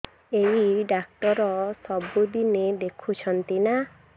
ଏଇ ଡ଼ାକ୍ତର ସବୁଦିନେ ଦେଖୁଛନ୍ତି ନା